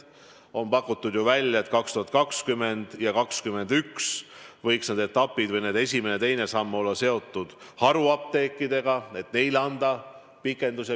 On pakutud ju välja, et 2020 ja 2021 võiks esimene ja teine samm olla seotud haruapteekidega, et neile anda pikendus.